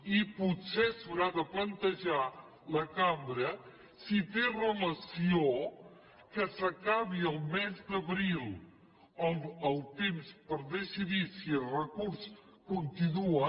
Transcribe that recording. i potser s’haurà de plantejar la cambra si té relació que s’acabi al mes d’abril el temps per decidir si el recurs continua